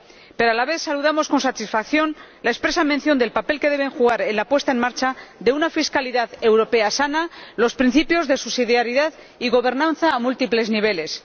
Pero a la vez saludamos con satisfacción la expresa mención del papel que deben jugar en la puesta en marcha de una fiscalidad europea sana los principios de subsidiariedad y gobernanza a múltiples niveles.